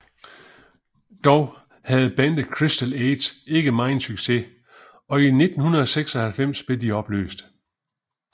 Dog havde bandet Crystal Age ikke meget succes og i 1996 blev de opløst